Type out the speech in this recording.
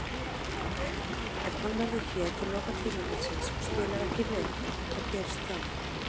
Ef hann verður hér til loka tímabilsins og spilar ekki vel, hvað gerist þá?